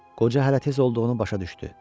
Qoca hələ tez olduğunu başa düşdü.